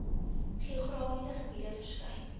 geografiese gebiede verskyn